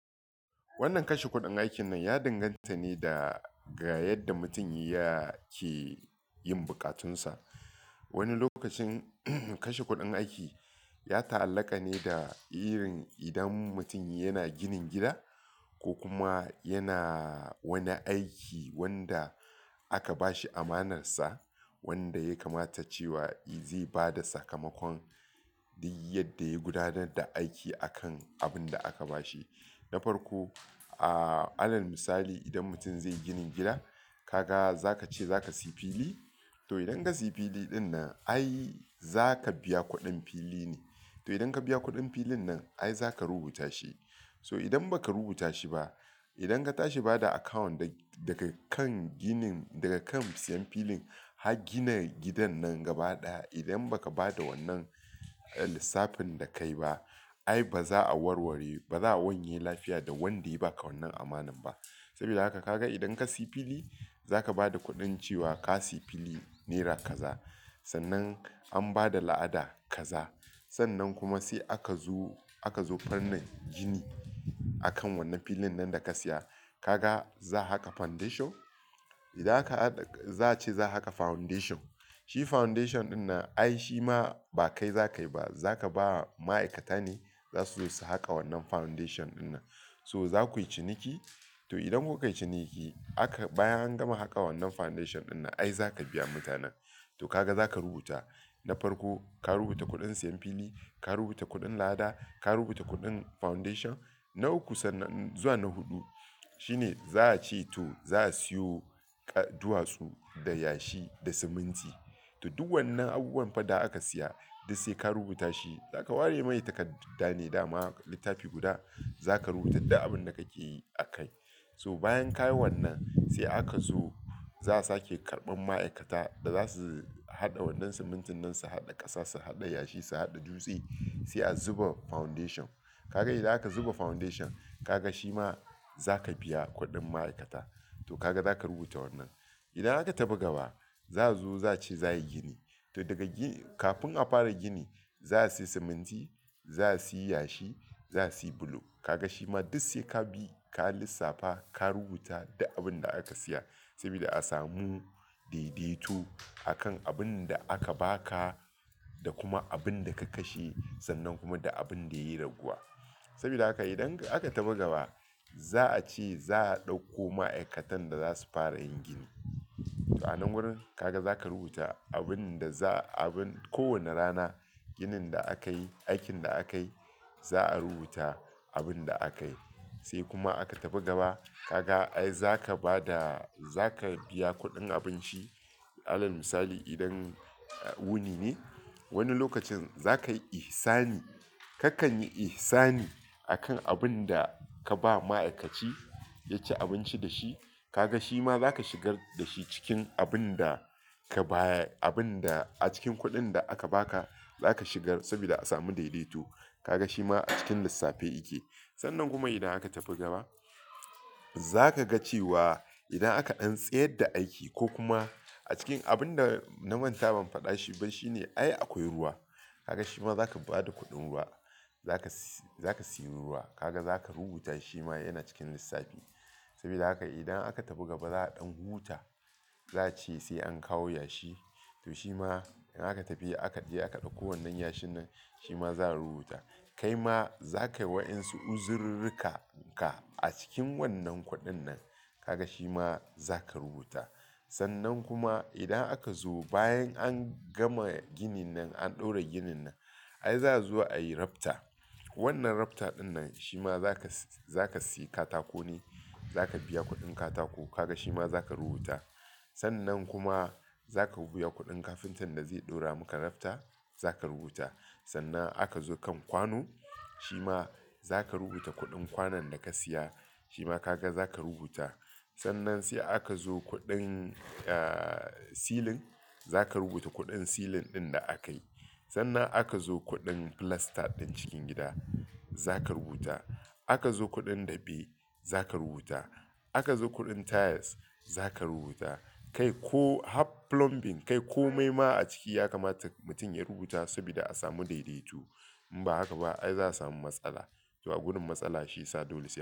Wannan kashe kuɗin aikin nan ya danganta ne da ga yadda mutum yake yin bukatunsa. Wani lokacin kashe kuɗin aiki ya ta'allaka ne da irin idan mutum yana ginin gida ko kuma yana wani aiki wanda aka ba shi amanarsa, wanda ya kamata cewa zai ba da sakamakon duk yadda ya gudanar da aiki akan abin da aka ba shi. Na farko, ah, alal misali, idan mutun zai yi ginin gida, ka ga za ka ce za ka sayi fili. To, idan ka sayi fili ɗin nan, ai za ka biya kuɗin fili ne. To, idan ka biya kuɗin filin nan, ai za ka rubuta shi. So, idan ba ka rubuta shi ba, idan ka tashi ba da account daga kan ginin, daga kan siyan filin, har gina gidan nan gaba ɗaya, idan ba ka ba da wannan lissafin da kai ba, ai ba za a warware, ba za a wanye lafiya da wanda ya ba ka wannan amanar ba. Saboda haka ka ga idan ka sayi fili, za ka ba da kuɗin cewa ka sayi fili naira kaza. Sannan an ba da la'ada kaza. Sannan kuma sai aka zo, aka zo fannin gini a kan wannan filin nan da ka siya. Ka ga za a haƙa foundation. Idan ka, za a ce za a haƙa foundation. Shi foundation ɗin nan ai shi ma ba kai za ka yi ba, za ka ba ma'aikata ne za su zo su haƙa wannan foundation ɗin nan. So, za ku yi ciniki. To, idan kun kai ciniki, aka, bayan an gama haƙa wannan foundation ɗin nan, ai za ka biya mutanen. To, ka ga za ka rubuta. Na farko, ka rubuta kuɗin siyan fili, ka rubuta kuɗin la'ada, ka rubuta kuɗin foundation. Na uku sannan zuwa na huɗu shine za a ce to za a siyo duwatsu da yashi da siminti. To, duk wannan abubuwan fa da aka siya, duk sai ka rubuta shi. Za ka ware mani takarda ne, dama littafi guda za ka rubuta da abin da kake yi akai. So, bayan ka yi wannan, sai aka zo za a sake karɓan ma'aikata da za su haɗa wannan siminti nan, su haɗa ƙasa, su haɗa yashi, su haɗa dutse sai a zuba foundation. Ka ga idan aka zuba foundation, ka ga shi ma za ka biya kuɗin ma'aikata. To, ka ga za ka rubuta wannan. Idan aka tafi gaba, za zuwa za a ci za a yi gini. To, daga, kafin a fara gini, za a sayi siminti, za a sayi yashi, za a sayi bulo. Ka ga shi ma duk sai ka bi, ka lissafa, ka rubuta da abin da aka siya saboda a samu daidaito a kan abin da aka ba ka da kuma abin da ka kashe sannan kuma da abin da ya yi raguwa. Saboda haka idan aka tafi gaba, za a ce za a ɗauko ma'aikatan da za su fara yin gini. To, a nan wurin ka ga za ka rubuta abin da za, abin kowane rana, ginin da akayi, aikin da akayi, za a rubuta abin da akayi. Sai kuma aka tafi gaba, ka ga ai za ka ba da, za ka biya kuɗin abinci. Alal misali, idan wuni ne, wani lokacin za ka yi ihsani. Kakan yi ihsani a kan abin da ka ba ma'aikaci ya ci abinci da shi. Ka ga shi ma za ka shigar da shi cikin abin da ka baya, abin da a cikin kuɗin da aka ba ka, za ka shigar saboda a samu daidaito. Ka ga shi ma a cikin lissafi yake. Sannan kuma idan aka tafi gaba, za ka ga cewa idan aka ɗan tsayar da aiki ko kuma a cikin abin da na manta ban faɗa shi ba shine ai akwai ruwa. Ka ga shi ma za ka ba da kuɗin ruwa. Za ka, za ka sayi ruwa. Ka ga za ka rubuta shi ma yana cikin lissafi. Saboda haka idan aka tafi gaba za a ɗan huta, za a ce sai an kawo yashi. To, shi ma idan aka tafi aka je aka ɗauko wannan yashi nan, shi ma za a rubuta. Kai ma za ka yi waɗansu uzururruka ka a cikin wannan kuɗin nan. Ka ga shi ma za ka rubuta. Sannan kuma idan aka zo bayan an gama ginin nan, an ɗaura ginin nan, ai za zuwa ayi rafter. Wannan rafter ɗin nan shi ma za ka, za ka sayi katako ne, za ka biya kuɗin katako. Ka ga shi ma za ka rubuta. Sannan kuma za ka biya kuɗin kafintan da zai ɗaura muku rafter, za ka rubuta. Sannan aka zo kan kwano, shi ma za ka rubuta kuɗin kwanon da ka siya. Shi ma ka ga za ka rubuta. Sannan sai aka zo kuɗin, ah, silin, za ka rubuta kuɗin silin ɗin da aka yi. Sannan aka zo kuɗin filasta ɗin cikin gida, za ka rubuta. Aka zo kuɗin daɓe, za ka rubuta. Aka zo kuɗin tiles, za ka rubuta. Kai ko har plumbing, kai ko maima a ciki ya kamata mutum ya rubuta saboda a samu daidaito. In ba haka ba ai za a samu matsala. To a gudun matsala shi ya sa dole.